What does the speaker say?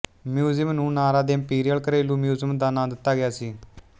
museum ਨੂੰ Nara ਦੇ imperial ਘਰੇਲੂ ਮਿਊਜ਼ੀਅਮ ਦਾ ਨਾਂ ਦਿੱਤਾ ਗਿਆ ਸੀ